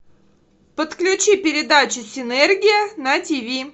подключи передачу синергия на тиви